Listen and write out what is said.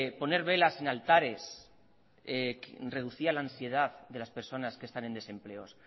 poner velas en altares reducía la ansiedad de las personas que están en desempleo